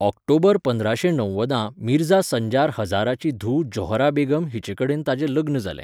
ऑक्टोबर पंदराशें णव्वदां मिर्झा संजार हजाराची धूव ज़ोहरा बेगम हिचेकडेन ताचें लग्न जालें.